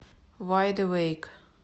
вайд эвэйк